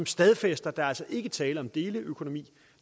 stadfæstet at der altså ikke er tale om deleøkonomi